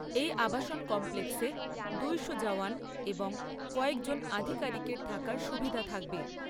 এই আবাসন কমপ্লেক্সে দুশো জওয়ান এবং কয়েকজন আধিকারিকের থাকার সুবিধা থাকবে।